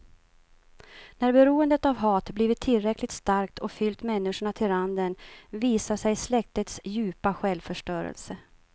När beroendet av hat blivit tillräckligt starkt och fyllt människorna till randen visar sig släktets djupa självförstörelse.